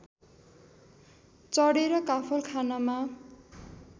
चढेर काफल खानमा